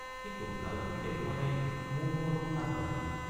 কিন্তু ভালকৈ দেখোঁ মানে মুৰটো অলপ আগবাঢ়িল।